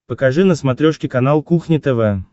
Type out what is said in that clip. покажи на смотрешке канал кухня тв